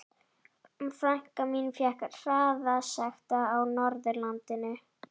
Frænka mín fékk hraðasekt á Norðurlandi.